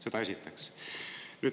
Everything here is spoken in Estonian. Seda esiteks.